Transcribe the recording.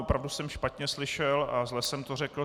Opravdu jsem špatně slyšel a zle jsem to řekl.